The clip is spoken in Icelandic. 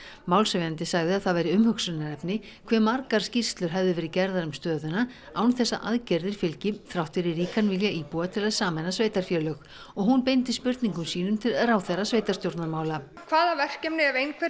málshefjandi sagði að það væri umhugsunarefni hve margar skýrslur hefðu verið gerðar um stöðuna án þess að aðgerðir fylgdi þrátt fyrir ríkan vilja íbúa til að sameina sveitarfélög og hún beindi spurningum sínum til ráðherra sveitarstjórnarmála hvaða verkefni ef einhver